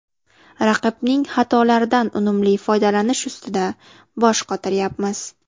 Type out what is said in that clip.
Raqibning xatolaridan unumli foydalanish ustida bosh qotiryapmiz.